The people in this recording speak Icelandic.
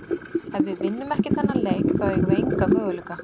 Ef við vinnum ekki þennan leik þá eigum við enga möguleika.